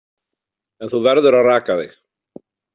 En þú verður að raka þig.